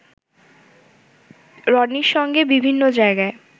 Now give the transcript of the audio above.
রনির সঙ্গে বিভিন্ন জায়গায়